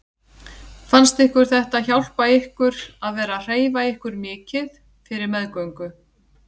Fannst ykkur þetta hjálpa ykkur að vera að hreyfa ykkur mikið fyrir meðgöngu?